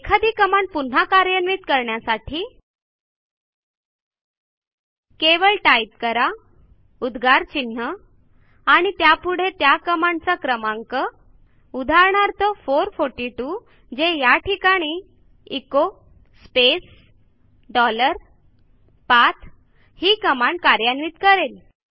एखादी कमांड पुन्हा कार्यान्वित करण्यासाठी केवळ टाईप करा उद्गार चिन्ह आणि त्यापुढे त्या कमांडचा क्रमांक उदाहरणार्थ 442 जे या ठिकाणी एचो स्पेस डॉलर पाठ ही कमांड कार्यान्वित करेल